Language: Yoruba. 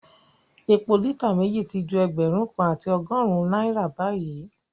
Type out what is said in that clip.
Epo lítà méjì ti ju ẹgbẹ̀rún kan àti ọgọ́rùn-ún náírà báyìí